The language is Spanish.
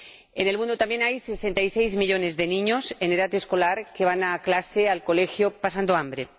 En el mundo también hay 66 millones de niños en edad escolar que van al colegio pasando hambre.